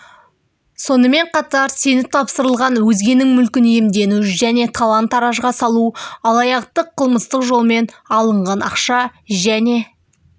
сонымен қатар сеніп тапсырылған өзгенің мүлкін иемдену және талан-таражға салу алаяқтық қылмыстық жолмен алынған ақша және